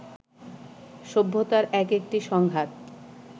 সভ্যতার এক-একটি সংঘাত